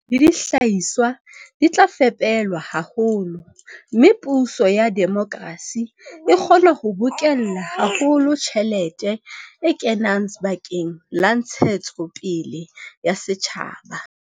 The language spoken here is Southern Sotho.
Thepa le dihlahiswa di tla fepelwa haholo, mme puso ya demokrasi e kgona ho bokella haholo tjhelete e kenang bakeng la ntshetsopele ya setjhaba.